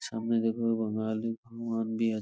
সামনে দেখো আবার মহাদেব মন্দির |